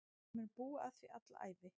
Ég mun búa að því alla ævi.